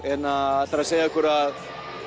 ætlar að segja okkur að